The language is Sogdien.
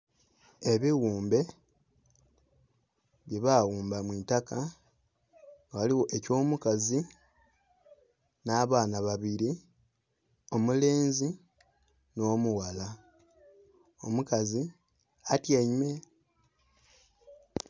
Ebighumbe byebaghumba mwiitaka ghaligho eky'omukazi n'abaana babiri omulenzi n'omughala, omukazi atyaime.